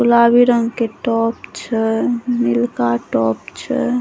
गुलाबी रंग के टॉप छै नीलका टॉप छै।